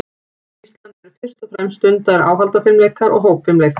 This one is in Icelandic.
Á Íslandi eru fyrst og fremst stundaðir áhaldafimleikar og hópfimleikar.